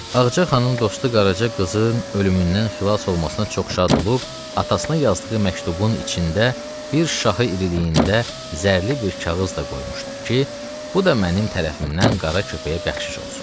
Ağca xanımın dostu Qaraca qızın ölümündən xilas olmasına çox şad olub atasına yazdığı məktubun içində bir şahı iriliyində zərli bir kağız da qoymuşdu ki, bu da mənim tərəfimdən qara köpəyə bəxşiş olsun.